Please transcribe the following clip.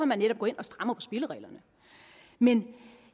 man netop går ind og strammer spillereglerne men